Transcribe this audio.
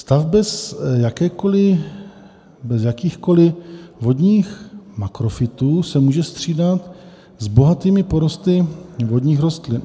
Stav bez jakýchkoli vodních makrofytů se může střídat s bohatými porosty vodních rostlin.